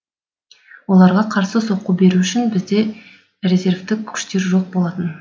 оларға қарсы соққы беру үшін бізде резервтік күштер жоқ болатын